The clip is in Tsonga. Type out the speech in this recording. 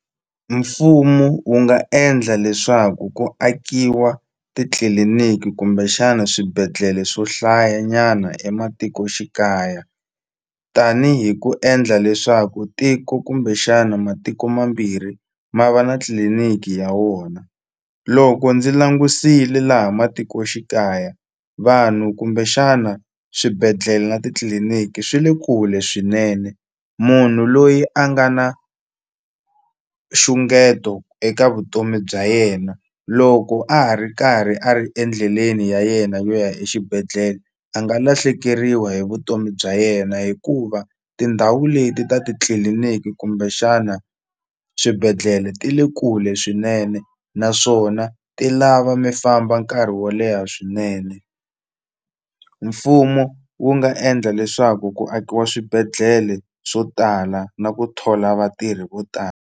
Mfumo wu nga endla leswaku ku akiwa titliliniki kumbexana swibedhlele swo hlaya nyana ematikoxikaya tanihi ku endla leswaku tiko kumbexana matiko mambirhi ma va na tliliniki ya wona loko ndzi langusile laha matikoxikaya vanhu kumbexana swibedhlele na titliliniki swi le kule swinene munhu loyi a nga na nxungeto eka vutomi bya yena loko a ha ri karhi a ri endleleni ya yena yo ya exibedhlele a nga lahlekeriwa hi vutomi bya yena hikuva tindhawu leti ta titliliniki kumbexana swibedhlele ti le kule swinene naswona ti lava mi famba nkarhi wo leha swinene mfumo wu nga endla leswaku ku akiwa swibedhlele swo tala na ku thola vatirhi vo tala.